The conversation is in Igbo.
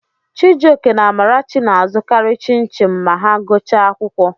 Chijioke na Amarachi na-azụkarị Chin-chim ma ha gụchaa akwụkwọ.